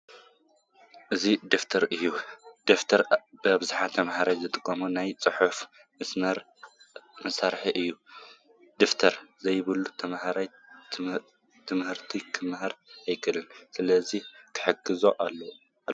እዚ ደፍተር እዩ፡፡ ደፍተር ብኣብዝሓ ተመሃሮ ዝጥቀሙሉ ናይ ፅሕፈት መሳርሒ እዩ፡፡ ደብተር ዘይብሉ ተመሃራይ ትምህርቲ ክመሃር ኣይኽእልን፡፡ ስለዚ ክሕገዝ ኣለዎ፡፡